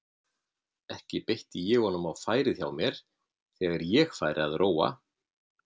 Ekki beitti ég honum á færið hjá mér þegar ég færi að róa.